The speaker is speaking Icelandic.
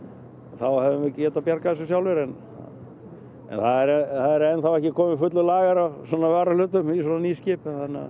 þá hefðum við getað bjargað þessu sjálfir en það er enn þá ekki kominn fullur lager af varahlutum í svona ný skip